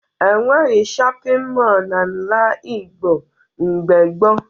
E nweghi shọpịn mọọ n'ala Igbo mgbe gboo